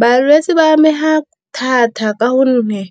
Balwetse ba amega thata ka gonne